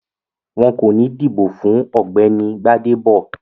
Wọn kò ní dìbò fún Ọ̀gbẹ́ni Gbádébọ̀